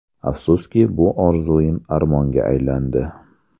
Afsuski, bu orzuim armonga aylandi.